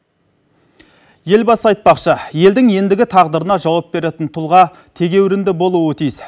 елбасы айтпақшы елдің ендігі тағдырына жауап беретін тұлға тегеурінді болуы тиіс